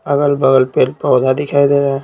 अगल-बगल पेल - पौधा दिखाई दे रहा है।